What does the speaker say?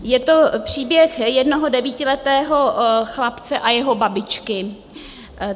Je to příběh jednoho devítiletého chlapce a jeho babičky.